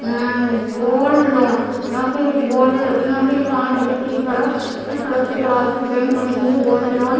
यहाँ एक आदमी वाइट स कवर वाइट सेफ्टी कवर पहने खड़े हुए उसके पास एक लड़की है।